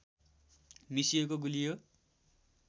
मिसिएको गुलियो